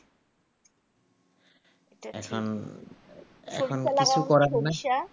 এখন কিছু করার নাই